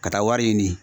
Ka taa wari ɲini